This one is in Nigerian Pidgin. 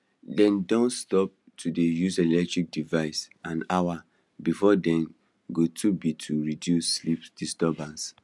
dem don stop to dey use electronic devices an hour before dem go to be to reduce sleep disturbance